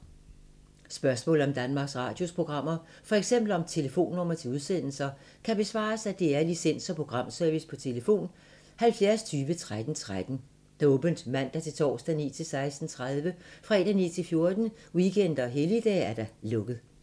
Spørgsmål om Danmarks Radios programmer, f.eks. om telefonnumre til udsendelser, kan besvares af DR Licens- og Programservice: tlf. 70 20 13 13, åbent mandag-torsdag 9.00-16.30, fredag 9.00-14.00, weekender og helligdage: lukket.